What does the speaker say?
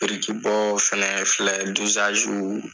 Birikibɔ fɛnɛ filɛ